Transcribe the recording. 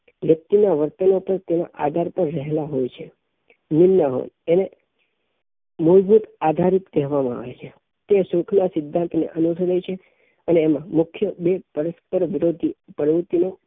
વ્યક્તિ ના વર્તનો પણ તેના આધાર પર રહેલા હોઈ છે નિલ ના હોય અને મૂળભૂત આધારિત કહેવામાં આવે છે તે સુખઃ ના સિદ્ધાંત ને અનુભવે છે અને મુખ્ય બે પરસ્પર વિરોધી પ્રવૃત્તિનાં